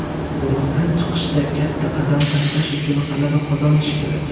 Guruhdan chiqishda katta qadam tashlash uchun g‘alaba qozonish kerak.